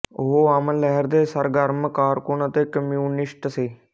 ਉਹ ਅਮਨ ਲਹਿਰ ਦੇ ਸਰਗਰਮ ਕਾਰਕੁਨ ਅਤੇ ਕਮਿਊਨਿਸਟ ਸੀ